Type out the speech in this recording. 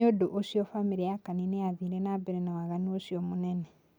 Nìundũ ucio famìlì ya Kani niathire na mbere na waganu ũcio munene".